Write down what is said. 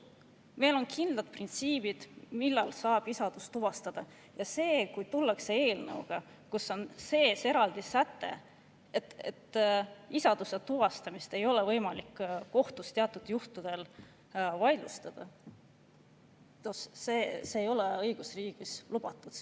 Meil on kindlad printsiibid, millal saab isadust tuvastada, ja kui tullakse eelnõuga, kus on sees eraldi säte, et isaduse tuvastamist ei ole võimalik kohtus teatud juhtudel vaidlustada, siis see ei ole õigusriigis lubatud.